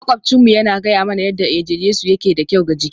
Maƙwabcinmu yana gaya mana yadda eje-jesu yake da kyau ga jiki